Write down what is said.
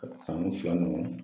Ka sanni fila ninnu